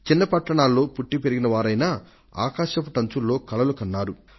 చిన్న పట్టణాల్లో పుట్టి పెరిగిన వారైనప్పటికీ వారు ఆకాశమంత ఎత్తు కలలను కన్నారు